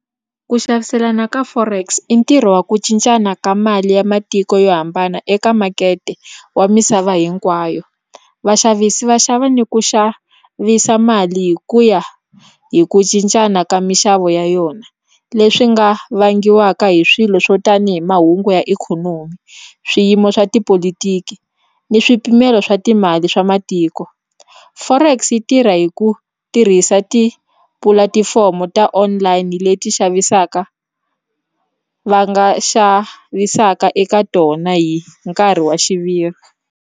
Ku xaviselana ka forex i ntirho wa ku cincana ka mali ya matiko yo hambana eka makete wa misava hinkwayo vaxavisi va xava ni ku xavisa mali hi ku ya hi ku cincana ka minxavo ya yona leswi nga vangiwaka hi swilo swo tani hi mahungu ya ikhonomi swiyimo swa tipolotiki ni swipimelo swa timali swa matiko forex yi tirha hi ku ku tirhisa tipulatifomo ta online leti xavisaka va nga xavisaka eka tona hi nkarhi wa xiviri.